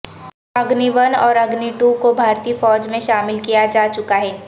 Agni one اور Agni two کو بھارتی فوج میں شامل کیا جا چکا ہے